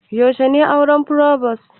Yaushe ne auren frobos?